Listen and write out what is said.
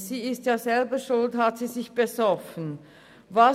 Sie ist selber schuld, dass die getrunken hat.